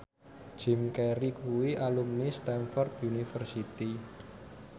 Jim Carey kuwi alumni Stamford University